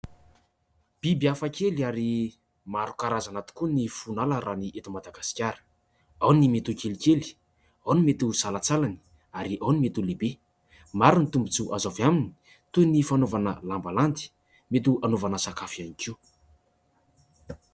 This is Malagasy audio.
Biby hafakely ary maro karazana tokoa ny foniala raha ny eto Madagasikara : ao ny mety ho kelikely, ao ny mety ho salatsalany ary ao ny mety ho lehibe. Maro ny tombotsoa azo avy aminy toy ny fanaovana lambalandy mety ho hanaovana sakafo ihany koa.